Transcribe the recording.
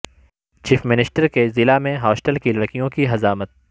chief minister کے ضلع میں ہاسٹل کی لڑکیوں کی حجامت